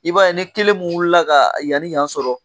I b'a ye ni kelen mun wulila ka yani yan ni yan sɔrɔ